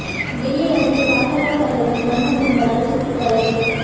டெல்லி அருகே பாஜக தலைவர் மர்ம கும்பலால் சுட்டுக் கொலை